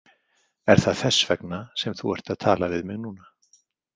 Er það þess vegna sem þú ert að tala við mig núna?